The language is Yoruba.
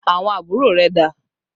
Àwọn àbúrò rẹ̀ dà?